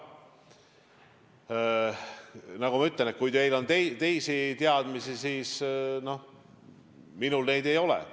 Nagu ma ütlen, kui teil on teisi teadmisi, siis minul neid ei ole.